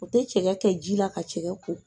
O tɛ cɛkɛ kɛ ji la ka cɛkɛ ko.